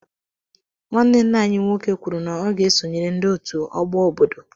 Nwanne ńnà anyị nwoke kwụrụ na ọ ga-esonyere ndị ọtú ọgbọ ọbọdọ.